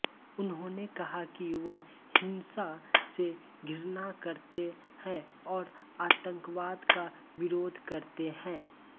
उन्होंने कहा कि वह हिंसा से घृणा करते हैं और आतंकवाद का विरोध करते हैं